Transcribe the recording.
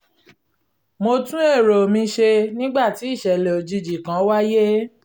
mo tún èrò mi ṣe nígbàtí ìṣẹ̀lẹ̀ òjijì kan wáyé